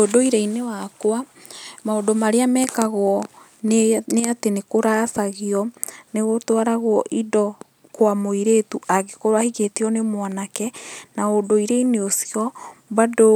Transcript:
Ũndũire-inĩ wakwa maũndũ marĩa mekagwo nĩ atĩ ni kũracagio, nĩ gũtwaragwo indo kwa mũirĩtu angĩkorwo ahikĩtio nĩ mwanake. Na ũndũire-inĩ ũcio bado